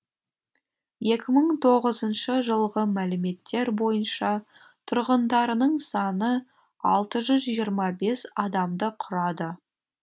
екі мың тоғызыншы жылғы мәліметтер бойынша тұрғындарының саны алты жүз жиырма бес адамды құрады